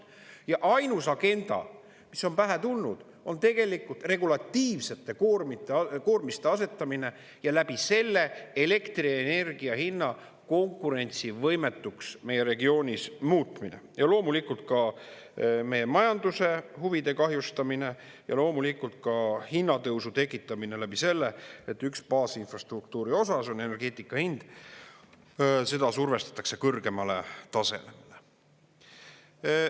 Ja ainus agenda, mis on pähe tulnud, on tegelikult regulatiivsete koormiste asetamine ja läbi selle elektrienergia hinna konkurentsivõimetuks meie regioonis muutmine ja loomulikult ka meie majanduse huvide kahjustamine ja loomulikult ka hinnatõusu tekitamine läbi selle, et üks baasinfrastruktuuri osa, see on energeetika hind, seda survestatakse kõrgemale tasemele.